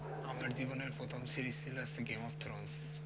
আমার জীবনের প্রথম series ছিল game of thron